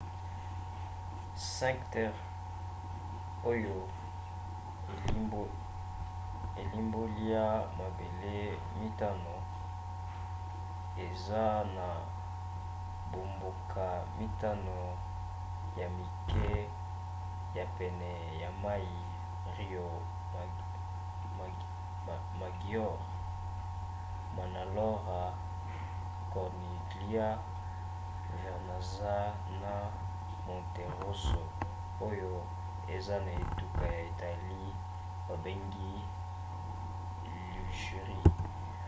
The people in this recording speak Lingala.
cinque terre oyo elimbolia mabele mitano eza na bamboka mitano ya mike ya pene ya mai riomaggiore manarola corniglia vernazza na monterosso oyo eza na etuka ya italie babengi ligurie